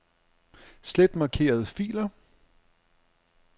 Slet markerede filer.